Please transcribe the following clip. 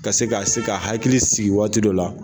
Ka se k'a se ka hakili sigi waati dɔ la.